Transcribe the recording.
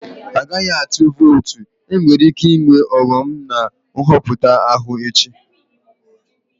Agaghị atụ votu, enwere ike ịnwe ọghọm na Nhọpụta ahụ echi